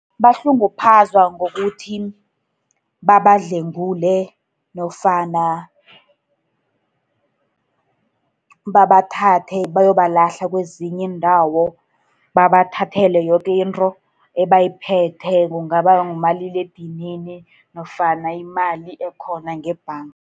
Bahlunguphazwa ngokuthi babadlwengule, nofana babathathe bayobalahla kwezinye iindawo, babathathele yoke into ebayiphetheko, kungaba ngumaliledinini, nofana imali ekhona ngebhanga.